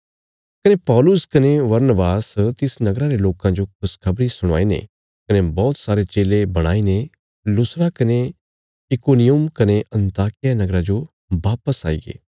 कने पौलुस कने बरनबास तिस नगरा रे लोकां जो खुशखबरी सुणाईने कने बौहत सारे चेले बणाईने लुस्त्रा कने इकुनियुम कने अन्ताकिया नगरा जो वापस आईगे